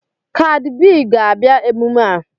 Kadi B ga-abịa emume a